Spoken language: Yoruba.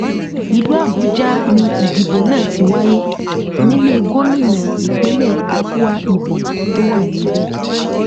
ìlú àbújá ni ìdìbò náà ti wáyé nílẹ gómìnà ìpínlẹ akwa ibom tó wà níbẹ